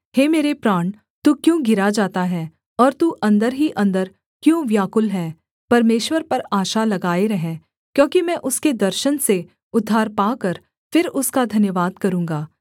हे मेरे प्राण तू क्यों गिरा जाता है और तू अन्दर ही अन्दर क्यों व्याकुल है परमेश्वर पर आशा लगाए रह क्योंकि मैं उसके दर्शन से उद्धार पाकर फिर उसका धन्यवाद करूँगा